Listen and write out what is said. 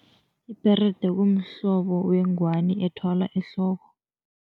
Ibherede kumhlobo wengwani ethwalwa ehloko.